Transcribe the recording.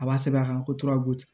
A b'a sɛbɛn a kan ko tora kojugu